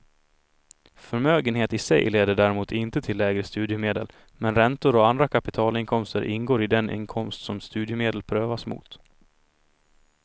Förmögenhet i sig leder däremot inte till lägre studiemedel, men räntor och andra kapitalinkomster ingår i den inkomst som studiemedel prövas mot.